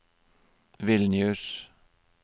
Vilnius